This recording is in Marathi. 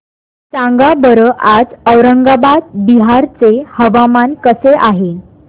सांगा बरं आज औरंगाबाद बिहार चे हवामान कसे आहे